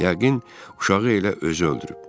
Yəqin uşağı elə özü öldürüb.